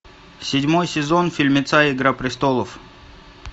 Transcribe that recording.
седьмой сезон фильмеца игра престолов